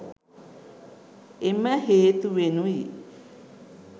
එම හේතුවෙනුයි